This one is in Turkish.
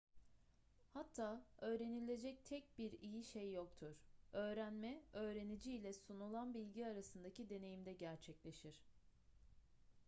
hatta öğrenilecek tek bir iyi şey yoktur öğrenme öğrenici ile sunulan bilgi arasındaki deneyimde gerçekleşir